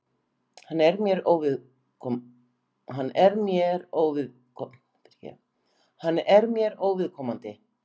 Hann er mér óviðkomandi.